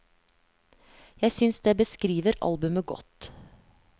Jeg synes det beskriver albumet godt.